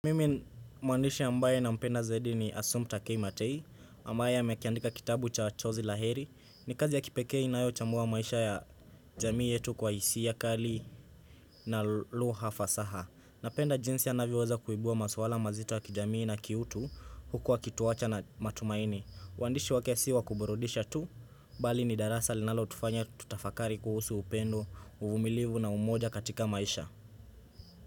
Mimi mwandishi ambaye nampenda zaidi ni Asumta K. Matei ambaye amekiandika kitabu cha jozi la heri ni kazi ya kipekee inayochambua maisha ya jamii yetu kwa hisia kali na lugha fasaha napenda jinsi anavyoweza kuibua maswala mazito ya kijamii na kiutu huku akituwacha na matumaini uandishi wake si wa kuburudisha tu Bali ni darasa linalo tufanya tutafakari kuhusu upendo, uvumilivu na umoja katika maisha.